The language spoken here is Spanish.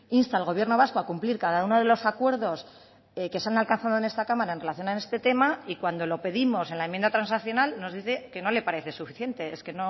insta al gobierno vasco a cumplir cada uno de los acuerdos que se han alcanzado en esta cámara en relación en este tema y cuando lo pedimos en la enmienda transaccional nos dice que no le parece suficiente es que